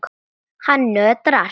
Hann nötrar.